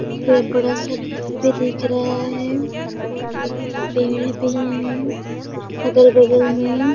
बे बड़ा सा घर भी दिख रहा है बहुत बड़ा-बड़ा पेड़ भी है अगल-बगल में--